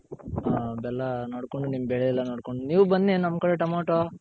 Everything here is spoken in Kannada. ಹ ಬೆಲ್ಲ ನೋಡ್ಕೊಂಡು ನಿಮ್ ಬೆಳೆ ಎಲ್ಲ ನೋಡ್ಕೊಂಡು ನೀವ್ ಬನ್ನಿ ನಮ್ ಕಡೆ ಟಮೊಟೊ